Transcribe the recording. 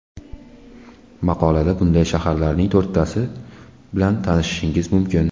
Maqolada bunday shaharlarning to‘rttasi bilan tanishishingiz mumkin .